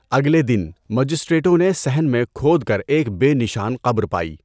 اگلے دن، مجسٹریٹوں نے صحن میں کھود کر ایک بے نشان قبر پائی۔